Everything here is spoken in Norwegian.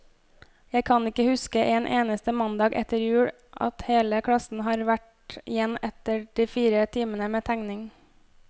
Jeg kan ikke huske en eneste mandag etter jul, at hele klassen har vært igjen etter de fire timene med tegning.